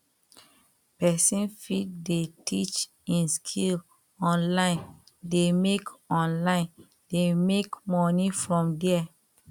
persin fit dey teach im skill onine de make onine de make money from there